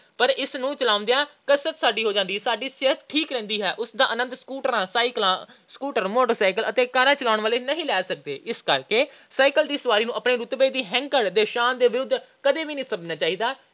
ਪਰ ਇਸ ਨੂੰ ਚਲਾਉਂਦਿਆਂ ਕਸਰਤ ਸਾਡੀ ਹੋ ਜਾਂਦੀ ਹੈ। ਸਾਡੀ ਸਿਹਤ ਠੀਕ ਰਹਿੰਦੀ ਹੈ। ਉਸ ਦਾ ਆਨੰਦ ਸਕੂਟਰਾਂ, ਮੋਟਰਸਾਈਕਲਾਂ ਤੇ ਕਾਰਾਂ ਚਲਾਉਣ ਵਾਲੇ ਨਹੀਂ ਲੈ ਸਕਦੇ। ਇਸ ਕਰਕੇ ਸਾਈਕਲ ਦੀ ਸਵਾਰੀ ਨੂੰ ਆਪਣੀ ਰੁਤਬੇ ਦੀ ਹੈਂਕੜ ਤੇ ਸ਼ਾਨ ਦੇ ਵਿਰੁੱਧ ਨਹੀਂ ਸਮਝਣਾ ਚਾਹੀਦਾ।